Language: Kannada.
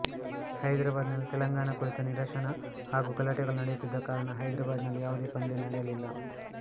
ಹೈದರಾಬಾದ್ ನಲ್ಲಿ ತೆಲಂಗಾಣ ಕುರಿತ ನಿರಶನ ಹಾಗು ಗಲಾಟೆಗಳು ನಡೆಯುತ್ತಿದ್ದ ಕಾರಣ ಹೈದರಾಬಾದ್ ನಲ್ಲಿ ಯಾವುದೇ ಪಂದ್ಯ ನಡೆಯಲಿಲ್ಲ